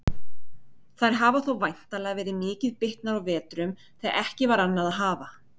Þær hafa þó væntanlega verið mikið bitnar á vetrum þegar ekki var annað að hafa.